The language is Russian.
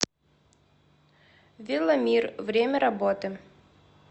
веломир время работы